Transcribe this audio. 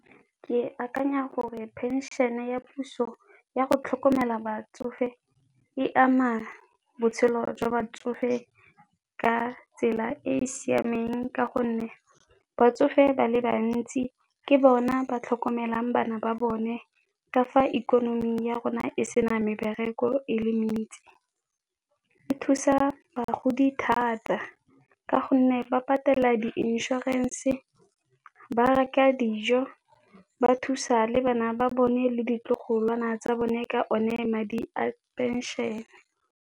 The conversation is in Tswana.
Ke akanya gore phenšene ya puso yago tlhokomela batsofe e ama botshelo jwa batsofe ka tsela e e siameng, ka gonne batsofe ba le bantsi ke bona ba tlhokomelang bana ba bone. Ka fa ikonomi ya rona e se na mebereko e le mentsi, e thusa bagodi thata ka gonne ba patela di inšorense, ba reka dijo, ba thusa le bana ba bone le ditlogolwana tsa bone ka o ne madi a phenšene.